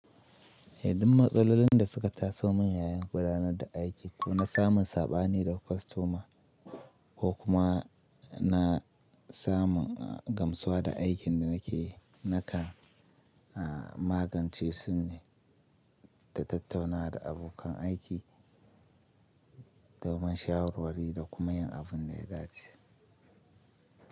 Hadin matsalolin da suka taso min yayin gudanar da aiki ko na samun saɓani da kwastoma ko kuma na samun gamsuwa da aikin da nake naka magance su ne ta tattaunawa da abokan aiki domin shawarwari da kuma yin abin da ya dace.